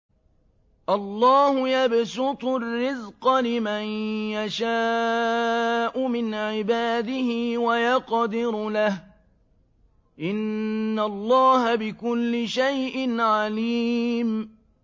اللَّهُ يَبْسُطُ الرِّزْقَ لِمَن يَشَاءُ مِنْ عِبَادِهِ وَيَقْدِرُ لَهُ ۚ إِنَّ اللَّهَ بِكُلِّ شَيْءٍ عَلِيمٌ